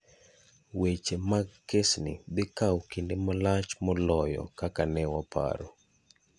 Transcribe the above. Weche mag kesni dhi kawo kinde malach moloyo kaka ne waparo.